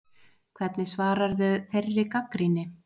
Hvernig svararðu þeirri gagnrýni